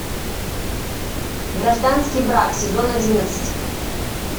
гражданский брак сезон одиннадцать